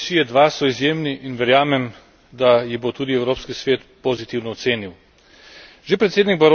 Dosežki Barossove Komisije II so izjemni in verjamem, da jih bo tudi Evropski svet pozitivno ocenil.